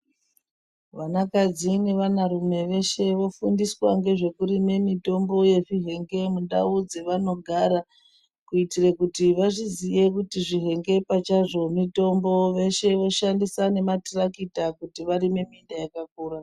Vanakadzi nevanarume veshe vofundiswa ngezvekurime mitombo yezvihenge mundau dzevanogara. Kuitire kuti vazviziye kuti zvihenge pachazvo mitombo. Veshe voshandisa nematirakita kuti varime minda yakakura.